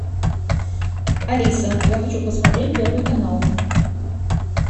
алиса я хочу посмотреть первый канал